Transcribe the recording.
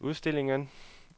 udstillingen